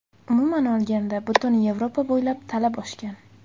Umuman olganda, butun Yevropa bo‘ylab talab oshgan.